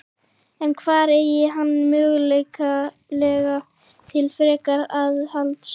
En hvar eygir hann möguleika til frekara aðhalds?